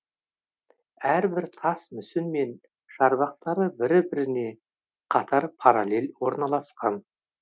әрбір тас мүсін мен шарбақтары бірі біріне қатар параллель орналасқан